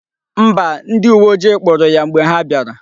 Mba, ndi uwe ojii kpuru ya mgbe ha biara